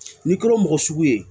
N'i kɛra mɔgɔ sugu ye